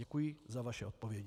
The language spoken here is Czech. Děkuji za vaše odpovědi.